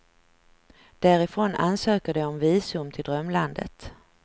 Därifrån ansöker de om visum till drömlandet.